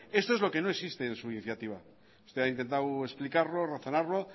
esto es lo que no existe en su iniciativa usted ha intentado explicarlo y razonarlo